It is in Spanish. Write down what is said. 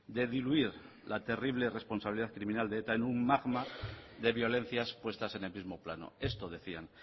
de diluir la terrible responsabilidad criminal de eta en un magma de violencias puestas en el mismo plano esto decían